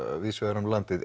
víðs vegar um landið